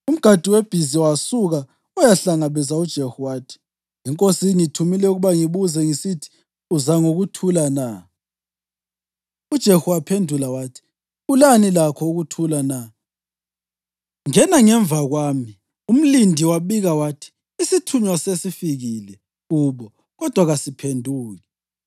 Umgadi webhiza wasuka wayahlangabeza uJehu wathi, “Inkosi ingithume ukuba ngibuze ngisithi, ‘Uza ngokuthula na?’ ” UJehu waphendula wathi, “Ulani lakho ukuthula na? Ngena ngemva kwami.” Umlindi wabika wathi, “Isithunywa sesifikile kubo, kodwa kasiphenduki.”